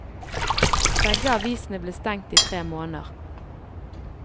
Begge avisene ble stengt i tre måneder.